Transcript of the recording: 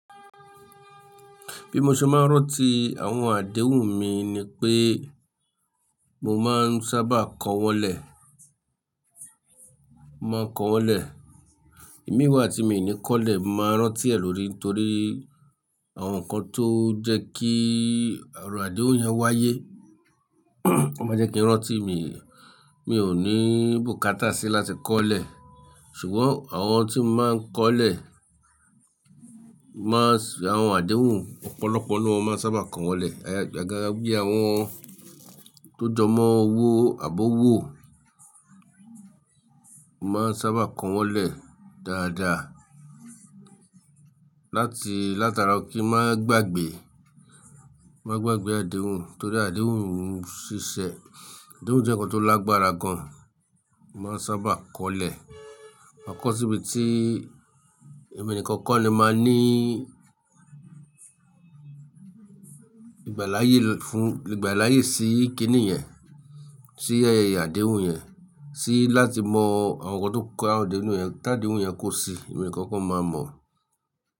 Bí mo ṣe máa ń rántí àwọn àdéhùn mi ni pé mo máa ń sábà kọ wọn lé, mo máa ń kọ wọn lé. Imi wà tí mi ò ní kọ́lẹ̀, mo máa ń rántí ẹ̀ lórí torí àwọn nǹkan tó jẹ́ kí ọ̀rọ̀ àdéhùn yẹn wáyé. Ó máa jẹ́ kí n rántí mi, mi ò ní bùkátà sí láti kọ́lẹ̀. Ṣùgbọ́n àwọn tí wọn máa ń kọ́lẹ̀ máa ń sọ àwọn àdéhùn ọ̀pọ̀lọpọ̀ nu won mo máa n sábà kọ wọlé. Agaaga bí àwọn tó jọmọ́ owó àbi owó mo máa ń sábà kọ wọn lé dáadáa láti látara kí wọ́n má gbagbe, má gbagbe àdéhùn torí àdéhùn òún ṣiṣẹ́. Àdéhùn jẹ́ nǹkan tó lágbára gan, máa ń sábà kọ́lẹ̀. Ma kọ síbi tí ẹmi nikan ko ni máa ní ìgbà láyé fún, ìgbà láyé sí kíni yẹn, sí ẹ àdéhùn yẹn, sí láti mọ àwọn nǹkan tó kó àwọn àdéhùn yẹn. Tí àdéhùn yẹn kò sí, ẹni nikan ko máa mọ̀.